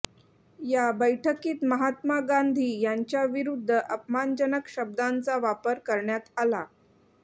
या बैठकीत महात्मा गांधी यांच्याविरुद्ध अपमानजनक शब्दांचा वापर करण्यात आला